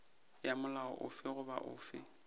ya molao ofe goba ofe